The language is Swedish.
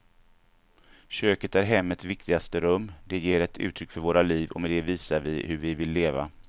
Köket är hemmets viktigaste rum, det ger ett uttryck för våra liv och med det visar vi hur vi vill leva.